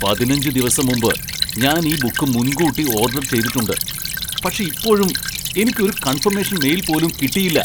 പതിനഞ്ച് ദിവസം മുമ്പ് ഞാൻ ഈ ബുക്ക് മുൻകൂട്ടി ഓർഡർ ചെയ്തിട്ടുണ്ട്, പക്ഷേ ഇപ്പോഴും എനിക്ക് ഒരു കൺഫമേഷൻ മെയിൽ പോലും കിട്ടിയില്ല.